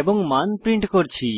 এবং মান প্রিন্ট করছি